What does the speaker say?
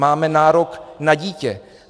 Máme nárok na dítě.